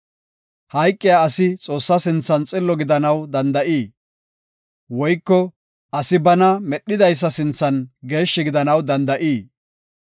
‘Hayqiya asi Xoossaa sinthan xillo gidanaw danda7ii? Woyko asi bana medhidaysa sinthan geeshshi gidanaw danda7ii?